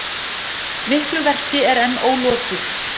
Miklu verki er enn ólokið